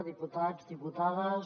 diputats diputades